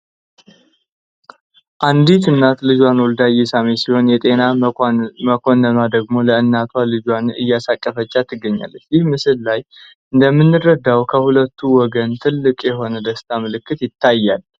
አንዲት እናት ልጇን ወልዳ እየሳመች ሲሆን የጤና መኮንኑዋ ደግሞ ለእናቷ ልጇን እያስታቀፈቻት ትገኛለች። ይህ ምስል ላይ እንደምንረዳው ከሁለቱ ወገን ትልቅ የሆነ የደስታ ምልክት ይታያል።